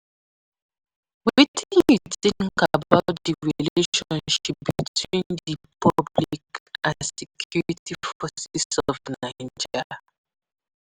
Wetin you think about di relationship between di public and security forces of Naija?